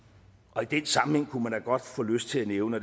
og i den sammenhæng kunne man da godt få lyst til at nævne